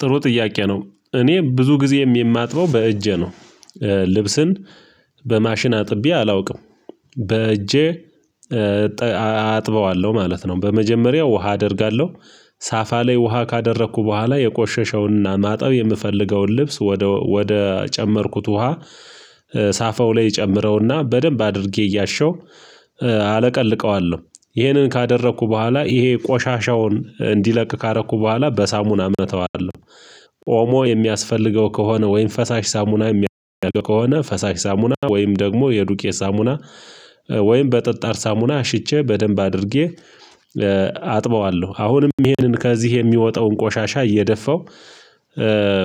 ጥሩ ጥያቄ ነው? እኔ ብዙ ጊዜ የማጥበው በእጄ ነው ልብስን በማሽን አጥቤ አላውቅም በእጄ አጥበዋለሁ ማለት ነው። በመጀመሪያው ውሃ አደርጋለሁ ሳፋ ላይ ውሃ ካደረኩ በኋላ የቆሸሸውንና ማጠብ የምፈልገውን ልብስ ወደ ወደ ጨመርኩት ውሃ ሳፈው ላይ ጨምረውና በደንብ አድርጌ እያሸው አለቀልቀዋለሁ ይሄንን ካደረኩ በኋላ ይሄ ቆሻሻውን እንዲለቅ ካደረኩ በኋላ በሳሙና እመተዋለሁ። ኦሞ የሚያስፈልገው ከሆነ ወይም ፈሳሽ ሳሙና የሚያደርገው ከሆነ ፈሳሽ ሳሙና ወይም ደግሞ የዱቄ ሳሙና ወይም በጠጣር ሳሙና አሽቼ በደንብ አድርጌ አጥበዋለሁ። አሁንም ይሄንን ከዚህ የሚወጣውን ቆሻሻ እየደፋው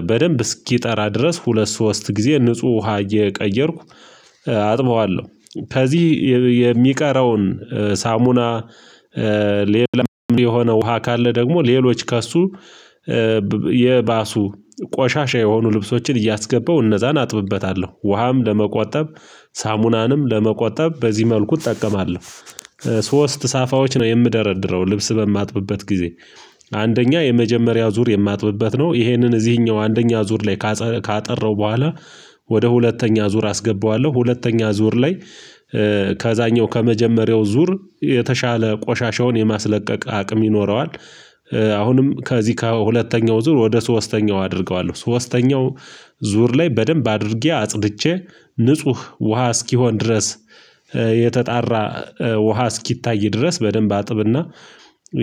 በደንብ እስኪጠራ ድረስ ሁለት ሶስት ጊዜ ንጹህ ውሃ እየቀየርኩ አጥበዋለሁ ከዚህ የሚቀረውን ሳሙና ሌላ የሆነ ውሃ ካለ ደግሞ ሌሎች ከእሱ የባሱ ቆሻሻ የሆኑ ልብሶችን እያስገባው እነዛን አጥብበታለሁ ውሃም ለመቆጠብ ሳሙናንም ለመቆጠብ በዚህ መልኩ እጠቀማለሁ። ሶስት ሳፋዎች ነው የምደረድረው ልብስ በማጥብበት ጊዜ አንደኛ የመጀመሪያው ዙር የማጥብበት ነው ይሄንን እዚህኛው አንደኛው ዙር ላይ ካጠራው በኋላ ወደ ሁለተኛ ዙር አስገባዋለሁ ሁለተኛ ዙር ላይ ከዛኛው ከመጀመሪያው ዙር የተሻለ ቆሻሻውን የማስለቀቅ አቅም ይኖረዋል። አሁንም ከዚህ ከሁለተኛው ዙር ወደ ሶስተኛው አደርገዋለሁ ሶስተኛው ዙር ላይ በደንብ አድርጌ አጽድቼ ንጹህ ውሃ እስኪሆን ድረስ የተጣራ ውሃ እስኪታይ ድረስ በደንብ አጥብና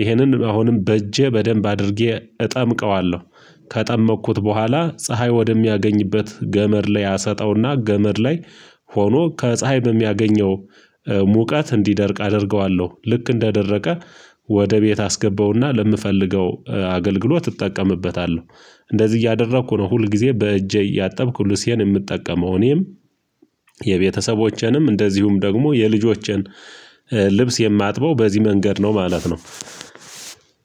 ይሄንን አሁንም በእጄ በደንብ አድርጌ እጨምቀዋለሁ ከጨመኩት በኋላ ፀሀይ ወደሚያገኝበት ገመድ ላይ አሰጠውና ገመድ ላይ ሆኖ ከፀሀይ በሚያገኘው ሙቀት እንዲደርቅ አደርገዋለሁ ልክ እንደደረቀ ወደ ቤት አስገበውና ለምፈልገው አገልግሎት እጠቀምበታለሁ። እንደዚህ እያደረኩ ነው ሁል ጊዜ በእጄ እያጠብኩ ልብሴን የምጠቀመው እኔም የቤተሰቦቼንም እንደዚሁም ደግሞ የልጆችን ልብስ የማጥበው በዚህ መንገድ ነው ማለት ነው።